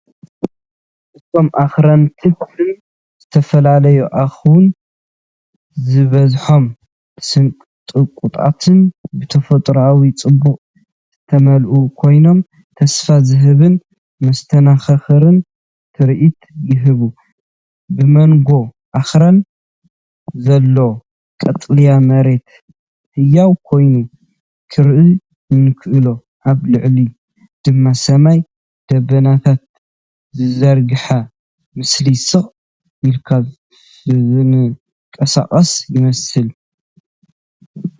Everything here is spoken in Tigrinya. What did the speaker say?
እቶም ኣኽራናትን ዝተፈላለዩ ኣኻውሕ ዝበዝሖም ስንጥቆታትን ብተፈጥሮኣዊ ጽባቐ ዝተመልኡ ኮይኖም፡ ተስፋ ዝህብን መስተንክርን ትርኢት ይህቡ። ብመንጎ ኣኽራን ዘሎ ቀጠልያ መሬት ህያው ኮይኑ ክረአ እንከሎ፡ ኣብ ላዕሊ ድማ ሰማይ ደበናታት ዝዘርግሑ መሲሉ ስቕ ኢሉ ዝንቀሳቐስ ይመስል።